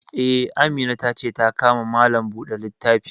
Eh, Amina ta ce ta ka ma Malam buɗe littafi